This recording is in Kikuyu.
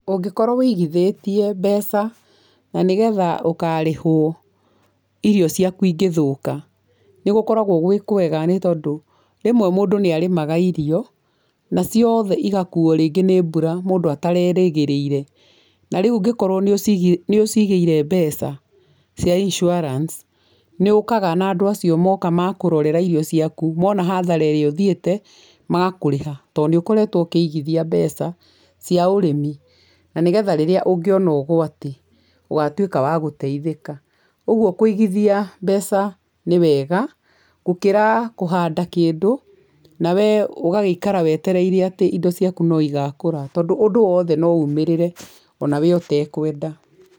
Ũngĩkorwo ũigithĩtie mbeca na nĩ getha ũkarĩhwo irio ciaku ingĩthũka, nĩ gũkoragwo gwĩ kwega nĩ tondũ rĩmwe mũndũ nĩ arĩmaga irio, na ciothe igakuuo rĩngĩ nĩ mbura mũndũ atarerĩgĩrĩire na rĩu ũngĩkorwo nĩ ũciigĩire mbeca cia insurance nĩ ũkaga na andũ acio moka ma kũrorera irio ciaku mona hathara ĩrĩa ũthiĩte magakũrĩha, tondũ nĩ ũkoretwo ũkĩigithia mbeca cia ũrĩmi na nĩ getha rĩrrĩa ũngĩona ũgwati ũgatuĩka wa gũteithĩka. Ũguo kũigithia mbeca nĩ wega gũkĩra kũhanda kĩndũ nawe ũgagĩikara wetereire atĩ indo ciaku no igakũũra, tondũ ũndũ wothe no umĩrĩre ona we ũtekwenda.